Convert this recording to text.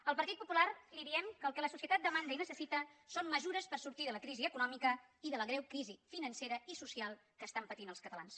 el partit popular li diem que el que la societat demanda i necessita són mesures per sortir de la crisi econòmica i de la greu crisi financera i social que pateixen els catalans